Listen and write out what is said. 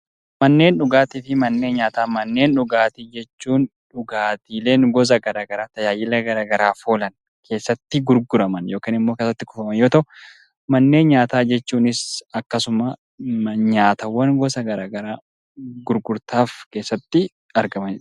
Manneen dhugaatii jechuun dhugaatiileen gosa gara garaa tajaajila gara garaaf oolan keessatti gurguraman yookiin keessatti kuufaman yoo ta'u, manneen nyaataa jechuunis akkasuma nyaatawwan gosa gara garaa gurgurtaaf keessatti argamanidha.